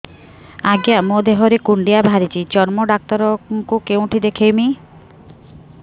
ଆଜ୍ଞା ମୋ ଦେହ ରେ କୁଣ୍ଡିଆ ବାହାରିଛି ଚର୍ମ ଡାକ୍ତର ଙ୍କୁ କେଉଁଠି ଦେଖେଇମି